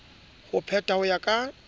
ho petha ho ya ka